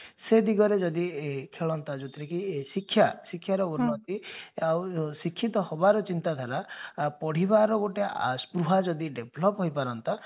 ସେ ଦିଗରେ ଯଦି ଖେଳନ୍ତା ଯଉଥିରେ କି ଶିକ୍ଷା ଶିକ୍ଷାର ଉନ୍ନତି ଆଉ ଶିକ୍ଷିତ ହେବାର ଚିନ୍ତାଧାରା ପଢିବାର ଗୋଟେ ଯଦି develop ହେଇପାରନ୍ତା